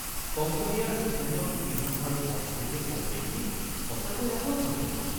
কম্বোডিয়াৰ স্থানীয় ইতিহাস আৰু সংস্কৃতিৰ সমৃদ্ধি সঁচাকৈয়ে আকৰ্ষণীয়।